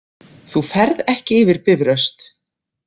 Þú ferð ekki yfir Bifröst